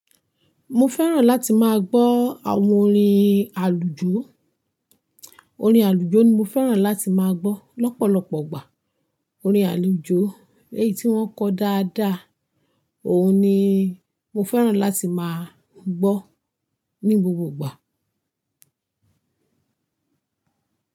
Mo fẹ́ràn láti máa gbọ́ àwọn orin àlùjó. Orin àlùjó ni mo fẹ́ràn láti máa gbọ́ lọ́pọ̀lọpọ̀ ọgbà. Orin àlùjó èyí tí wọ́n kọ dáadáa, òun ni mo fẹ́ràn láti máa gbọ́ ní gbogbo ìgbà.